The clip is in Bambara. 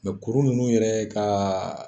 kuru nunnu yɛrɛ ka